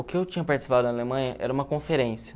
O que eu tinha participado na Alemanha era uma conferência.